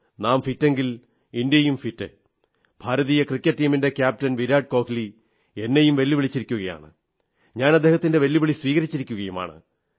നാം ഫിറ്റെങ്കിൽ ഇന്ത്യയും ഫിറ്റ് ഭാരതീയ ക്രിക്കറ്റ് ടീമിന്റെ ക്യാപ്റ്റൻ വിരാട് കോഹ്ലി എന്നെയും വെല്ലുവിളിച്ചിരിക്കയാണ് ഞാൻ അദ്ദേഹത്തിന്റെ വെല്ലുവിളി സ്വീകരിച്ചിരിക്കയുമാണ്